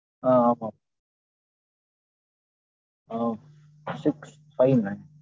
ஆஹ் ஆமா ஆஹ் six five nine